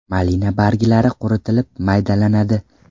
Malina barglari quritilib maydalanadi.